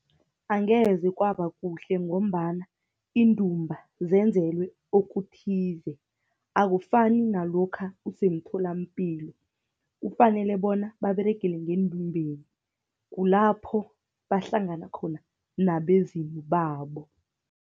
Angeze kwaba kuhle, ngombana iindumba zenzelwe okuthize, akufani nalokha usemtholampilo. Kufanele bona baberegele ngendumbeni, kulapho bahlangana khona nabezimu babo.